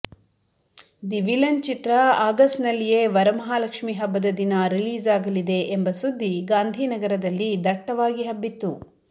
the villain ಚಿತ್ರ ಆಗಸ್ಟ್ನಲ್ಲಿಯೇ ವರಮಹಾಲಕ್ಷ್ಮಿ ಹಬ್ಬದ ದಿನ ರಿಲೀಸ್ ಆಗಲಿದೆ ಎಂಬ ಸುದ್ದಿ ಗಾಂಧಿನಗರದಲ್ಲಿ ದಟ್ಟವಾಗಿ ಹಬ್ಬಿತ್ತು